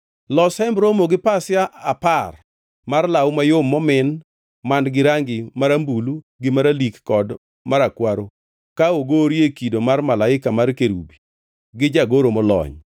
“Los Hemb Romo gi pasia apar mar law mayom momin man-gi rangi marambulu gi maralik kod marakwaro ka ogorie kido mar malaika mar kerubi gi jagoro molony.